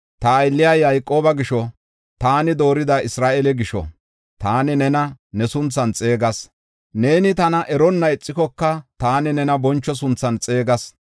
Ta aylliya Yayqooba gisho, taani doorida Isra7eele gisho, taani nena ne sunthan xeegas. Neeni tana eronna ixikoka, taani nena boncho sunthan xeegas.